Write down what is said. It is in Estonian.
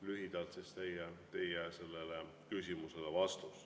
Lühidalt selline vastus teie küsimusele.